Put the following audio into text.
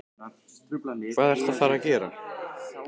Hvað ertu að fara að gera?